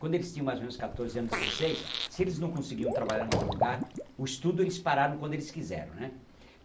Quando eles tinham mais ou menos quatorze anos, dezeseis, se eles não conseguiam trabalhar em algum lugar, o estudo eles pararam quando eles quiseram, né?